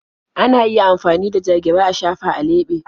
Ana iya amfani da ja-gira a shafa a leɓe.